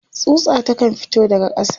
tsutsa ta kan fito daga ƙasa